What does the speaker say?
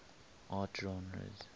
art genres